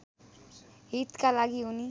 हितका लागि उनी